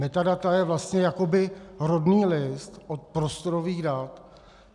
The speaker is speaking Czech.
Metadata je vlastně jakoby rodný list od prostorových dat.